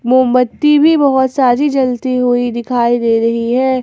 मोमबत्ती भी बहोत सारी जलती हुई दिखाई दे रही है।